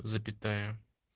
запятая